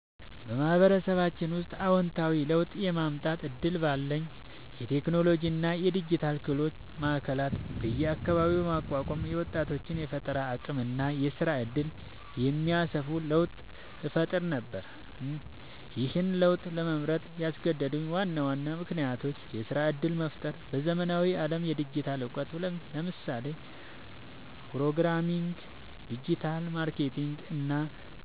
በማህበረሰባችን ውስጥ አወንታዊ ለውጥ የማምጣት እድል ባገኝ፣ የቴክኖሎጂ እና የዲጂታል ክህሎት ማዕከላት በየአካባቢው በማቋቋም የወጣቶችን የፈጠራ አቅም እና የስራ እድል የሚያሰፋ ለውጥ እፈጥር ነበር። ይህን ለውጥ ለመምረጥ ያስገደዱኝ ዋና ዋና ምክንያቶች -የስራ እድል መፍጠር በዘመናዊው ዓለም የዲጂታል እውቀት (ለምሳሌ ፕሮግራሚንግ፣ ዲጂታል ማርኬቲንግ እና